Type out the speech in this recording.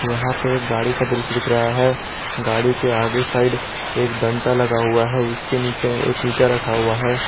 यहां पे एक गाड़ी का दृश्य दिख रहा हैं गाड़ी के आगे साईड एक डंडा लगा हुआ है उसके नीचे एक ईटा रखा हुआ हैं।